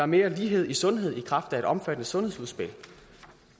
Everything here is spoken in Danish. mere lighed i sundhed i kraft af et omfattende sundhedsudspil